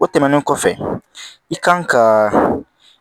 O tɛmɛnen kɔfɛ i kan ka